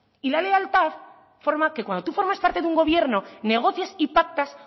y la lealtad forma que cuando tú formas parte de un gobierno negocias y pactas